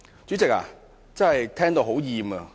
主席，我真的聽到生厭。